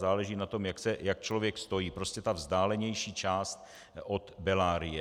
záleží na tom, jak člověk stojí, prostě ta vzdálenější část od Bellarie.